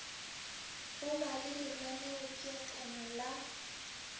go ba le lenaneopeakanyo la